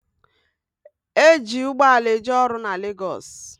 E ji ugboala eje ọrụ na Legosi